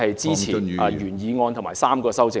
支持原議案及3項修正案。